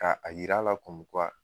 Ka a yir'a la